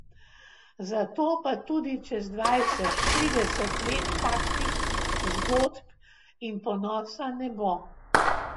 Zato pa tudi čez dvajset, trideset let takšnih zgodb in ponosa ne bo.